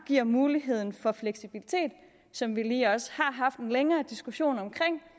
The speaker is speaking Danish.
giver muligheden for fleksibilitet som vi lige også har haft en længere diskussion om